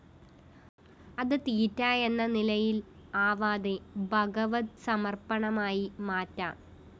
അതു തീറ്റ എന്ന നിലയില്‍ ആവാതെ ഭഗവത്സമര്‍പ്പണമായി മാറ്റാം